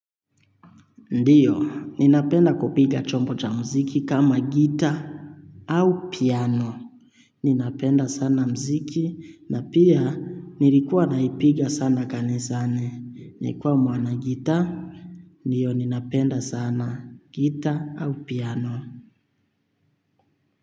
Ndiyo, ninapenda kupiga chombo cha muziki kama gita au piano. Ninapenda sana muziki na pia nilikuwa naipiga sana kanisani. Nikuwa mwana guitar, ndiyo ninapenda sana guitar au piano.